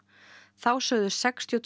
þá sögðu sextíu og